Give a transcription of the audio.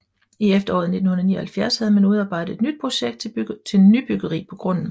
I efteråret 1979 havde man udarbejdet et nyt projekt til nybyggeri på grunden